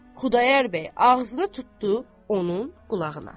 Xudayar bəy ağzını tutdu onun qulağına.